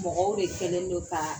Mɔgɔw de kɛlen don kaaa